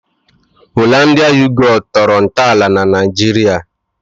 "Hollandia Yogut" tọrọ ntọala na Naịjirịa